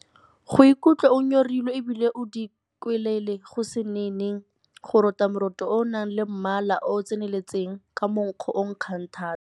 Go ikutlwa o nyorilwe e bile o dikwelela go se nene. Go rota moroto o o nang le mmala o o tseneletseng, ka monkgo o o nkgang thata.